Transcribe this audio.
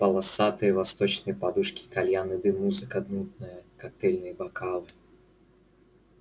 полосатые восточные подушки кальянный дым музыка нудная коктейльные бокалы